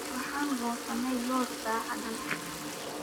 Waxaan goosanay loos saacadan.